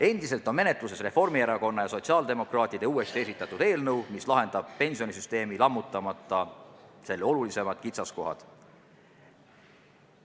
Endiselt on menetluses Reformierakonna ja sotsiaaldemokraatide uuesti esitatud eelnõu, mis lahendab pensionisüsteemi olulisimad kitsaskohad, ilma et süsteemi lammutataks.